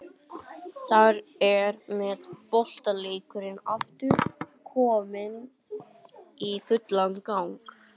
Þar með er boltaleikurinn aftur kominn í fullan gang.